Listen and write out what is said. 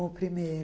Com o primeiro.